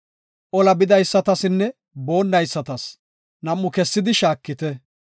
Ola bidaysatasinne boonnaysatas nam7u kessidi shaakite.